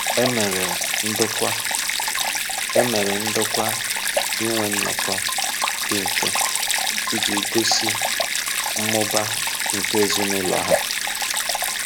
E mere ndokwa E mere ndokwa inwe nnọkọ dị mfe iji gosi mmụba nke ezinụlọ ha.